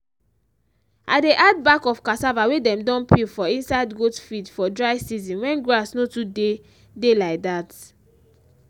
i dey add bark of cassava wey dem don peel for inside goat feed for dry season wen grass no too dey dey like dt